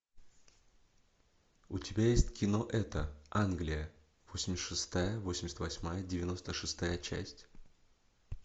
у тебя есть кино это англия восемьдесят шестая восемьдесят восьмая девяносто шестая часть